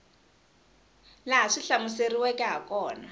laha swi hlamuseriweke ha kona